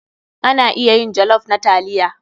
Ana iya yin jollof na taliya.